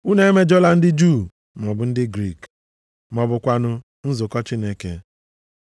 Unu emejọla ndị Juu maọbụ ndị Griik, ma ọ bụkwanụ nzukọ Chineke.